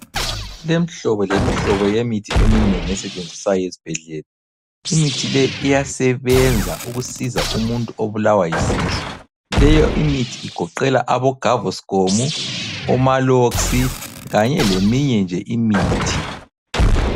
Kulemhlobo lemhlobo yemithi eminengi esetshenziswayo esbhedlela. Imithi le iyasebenza ukusiza umuntu obulawa yisisu. Leyo imithi igoqela abo gavoscom, omaalox kanye leminye nje imithi.